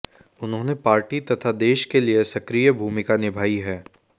उन्होंने पार्टी तथा देश के लिए सक्रिय भूमिका निभाई है